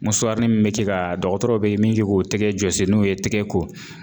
ni min bɛ kɛ ka dɔgɔtɔrɔw be miiri k'o tɛgɛ jɔsi n'u ye tɛgɛ ko